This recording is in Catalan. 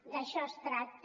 d’això es tracta